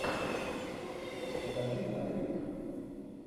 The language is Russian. покажи отрыв